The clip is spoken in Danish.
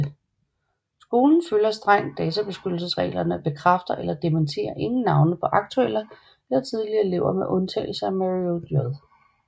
Skolen følger strengt databeskyttelsesreglerne og bekræfter eller dementerer ingen navne på aktuelle eller tidligere elever med undtagelse af Mario J